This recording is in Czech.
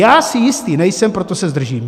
Já si jistý nejsem, proto se zdržím.